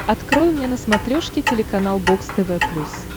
открой мне на смотрешке телеканал бокс тв плюс